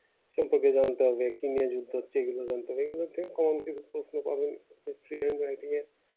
সম্পত্তি ধ্বংস হবে চীনের যুদ্ধ হচ্ছে ওগুলো জানতে পারবে লোকে common কিছু প্রশ্ন পাবেন facebook এর মাধ্যমে